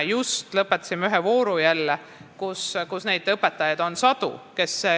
Just lõpetasime ühe vooru, kus on sadu õpetajaid, kes lisandusid.